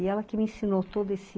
E ela que me ensinou todo esse...